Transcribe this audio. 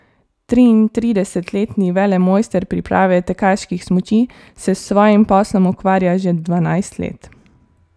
Triintridesetletni velemojster priprave tekaških smuči se s svojim poslom ukvarja že dvanajst let.